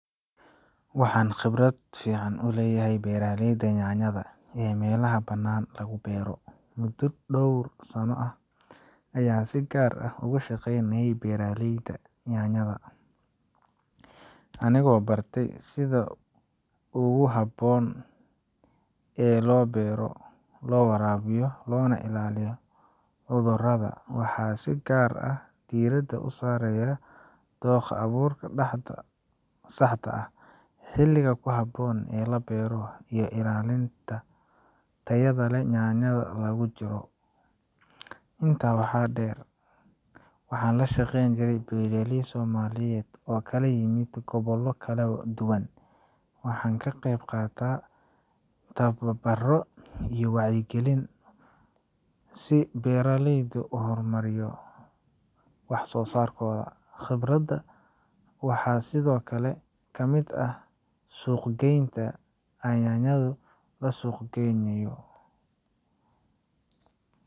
Waxaan khibrad fiican u leeyahay beeraliyda nyaanyada ee meelaha banaan lagu beero. Muddo dhowr sanno ah ayaa si gaar ah uga shaqaynahay beeraliyada nyaanyada. Anigoo bartay sida ugu habboon ee loo beero, loo waraabiyo, loona ilaaliyo hodooda, waxaa si gaar ah diirada u saaraya dooha abuurka dhaxda saxda ah, xiliga ku habboon ee la beero iyo ilaalinta tayadde leh nyaanyada lagu jiro. Intaa waxaa dheer. Waxaan la shaqeyn yahay beeraliyey Soomaaliyeed oo kale imid kobollo kale duwan. Waxaan ka qayb qaataa tababarro iyo wacigelin si beeraliydu u hormariyo wax soo saarkooda. Khibradda waxaa sidoo kale ka mid ah suuq geynta ay nyaanyadu la suuq geynayo.